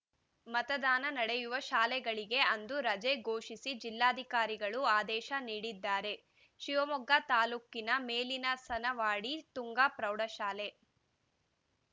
ಮತದಾನ ನಡೆಯುವ ಶಾಲೆಗಳಿಗೆ ಅಂದು ರಜೆ ಘೋಷಿಸಿ ಜಿಲ್ಲಾಧಿಕಾರಿಗಳು ಅದೇಶ ನೀಡಿದ್ದಾರೆ ಶಿವಮೊಗ್ಗ ತಾಲೂಕಿನ ಮೇಲಿನಹನಸವಾಡಿ ತುಂಗಾ ಪ್ರೌಢಶಾಲೆ